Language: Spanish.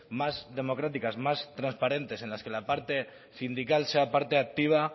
más democráticas más transparentes en las que la parte sindical sea parte activa